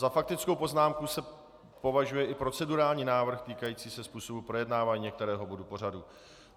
Za faktickou poznámku se považuje i procedurální návrh týkající se způsobu projednávání některého bodu pořadu.